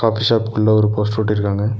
Coffee shop குள்ள ஒரு poster ஒட்டிருக்காங்க.